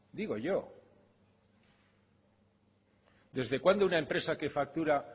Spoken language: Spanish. digo yo desde cuando una empresa que factura